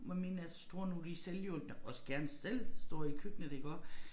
Hvor mine er så store nu de selvhjulpne også gerne selv står i køkkenet iggå